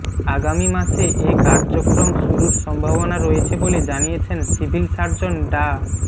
আগামী মাসে এ কার্যক্রম শুরুর সম্ভাবনা রয়েছে বলে জানিয়েছেন সিভিল সার্জন ডা